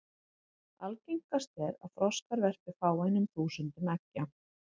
Algengast er að froskar verpi fáeinum þúsundum eggja.